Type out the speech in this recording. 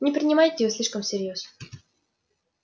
не принимайте её слишком всерьёз